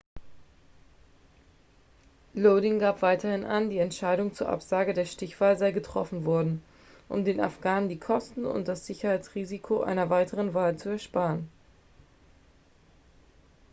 lodin gab weiterhin an die entscheidung zur absage der stichwahl sei getroffen worden um den afghanen die kosten und das sicherheitsrisiko einer weiteren wahl zu ersparen